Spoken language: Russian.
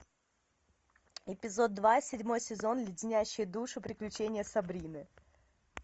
эпизод два седьмой сезон леденящие душу приключения сабрины